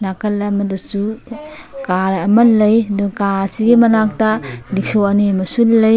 ꯅꯀꯟ ꯑꯃꯗꯁꯨ ꯀꯥꯔ ꯑꯃ ꯂꯩ ꯀꯥꯔ ꯑꯁꯤꯒꯤ ꯃꯅꯛꯇ ꯔꯤꯛꯁꯣ ꯑꯅꯤ ꯑꯃꯁꯨ ꯂꯩ꯫